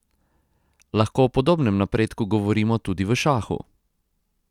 Lahko o podobnem napredku govorimo tudi v šahu?